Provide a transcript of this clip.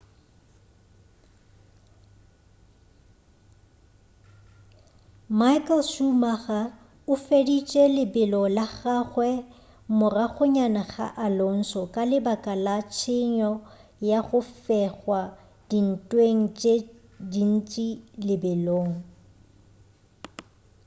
michael schumacher o feditše lebelo la gagwe moragonyana ga alonso ka lebaka la tshenyo ya go fegwa dintweng tše dintši lebelong